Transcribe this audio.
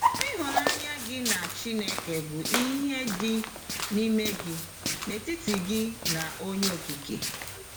Ịhụnanya gị na Chineke bụ ihe dị n’ime gị, n’etiti gị na Onye Okike.